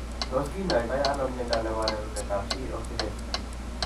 Tos kinyai to ano mnyondo nebo rarunetab C oxidase ?